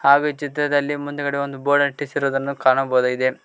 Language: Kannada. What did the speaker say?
ಹಾಗೂ ಈ ಚಿತ್ರದಲ್ಲಿ ಮುಂದೆಗಡೆ ಒಂದು ಬೋರ್ಡ್ ಅಂಟಿಸಿರುವುದನ್ನು ಕಾಣಬಹುದಾಗಿದೆ.